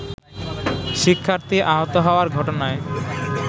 শিক্ষার্থী আহত হওয়ার ঘটনায়